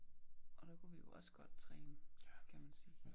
Og der kunne vi jo også godt træne kan man sige